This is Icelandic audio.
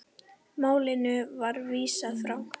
Málinu var vísað frá.